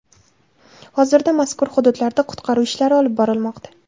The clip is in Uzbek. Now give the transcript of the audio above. Hozirda mazkur hududlarda qutqaruv ishlari olib borilmoqda.